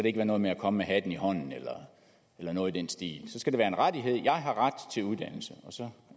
ikke være noget med at komme med hatten i hånden eller noget i den stil det skal være en rettighed jeg har ret til uddannelse og så